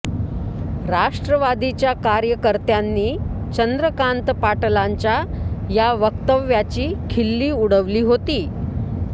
राष्ट्रवादीच्या कार्यकर्त्यांनी चंद्रकांत पाटलांच्या या वक्तव्याची खिल्ली उडवली होती